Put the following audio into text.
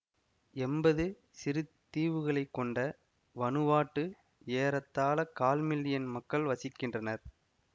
எம்பது சிறு தீவுகளை கொண்ட வனுவாட்டு ஏறத்தாழ கால் மில்லியன் மக்கள் வசிக்கின்றனர்